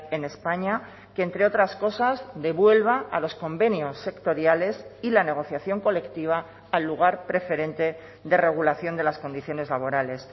en españa que entre otras cosas devuelva a los convenios sectoriales y la negociación colectiva al lugar preferente de regulación de las condiciones laborales